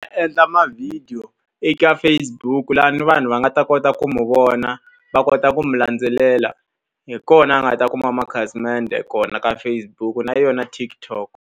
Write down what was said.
Endla mavhidiyo eka Facebook laha ni vanhu va nga ta kota ku n'wi vona, va kota ku n'wi landzelela. Hi kona a nga ta kuma makhasimende kona ka Facebook na yona TikTok.